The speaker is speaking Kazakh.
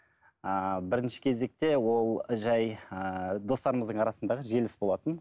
ыыы бірінші кезекте ол жай ыыы достарымыздың арасындағы желіс болатын